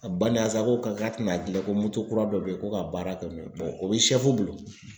A bana sa ko k'a tɛna gilan ko moto kura dɔ bɛ yen ko ka baara kɛ n'o ye o bɛ bolo